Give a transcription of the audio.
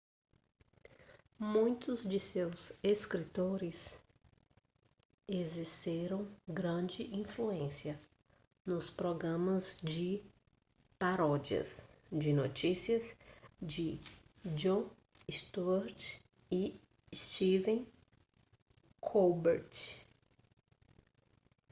muitos de seus escritores exerceram grande influência nos programas de paródias de notícias de jon stewart e stephen colbert